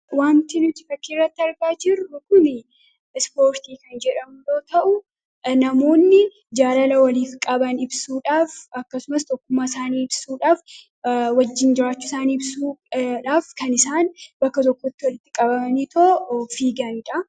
Waanti nuti fakkiirratti argaa jirru kuni Ispoortii kan jedhamu yoo ta'u, namoonni jaalala waliif qaban ibsuudhaaf akkasumas tokkummaa isaanii ibsuudhaaf, wajjin jiraachuu isaanii ibsuudhaaf kan isaan bakka tokkotti walitti qabamaniitoo fiiganidha.